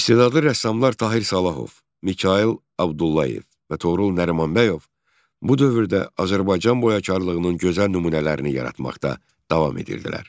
İstedadlı rəssamlar Tahir Salahov, Mikayıl Abdullayev və Toğrul Nərimanbəyov bu dövrdə Azərbaycan boyakarlığının gözəl nümunələrini yaratmaqda davam edirdilər.